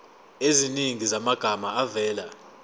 eziningi zamagama avela